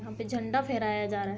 यहाँ पे झंडा फेराया जा रहा है।